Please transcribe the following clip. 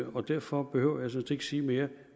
og derfor behøver jeg sådan set ikke sige mere